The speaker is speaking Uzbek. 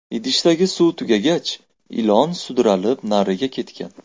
Idishdagi suv tugagach ilon sudralib nariga ketgan.